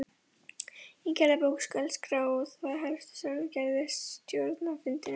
Í gerðabók skal skrá það helsta sem gerist á stjórnarfundum.